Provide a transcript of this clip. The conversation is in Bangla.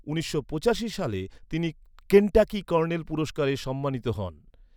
উনিশশো পঁচাশি সালে, তিনি কেনটাকি কর্নেল পুরস্কারে সম্মানিত হন।